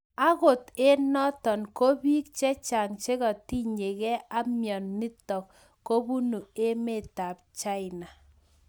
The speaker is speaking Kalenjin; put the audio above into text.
Angot eng notok ko piik chechang chekatiny gei ak mianitok kobunu emeet chaina